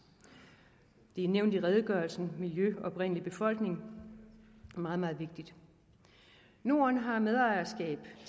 det er nævnt i redegørelsen miljø og oprindelig befolkning og meget meget vigtigt norden har medejerskab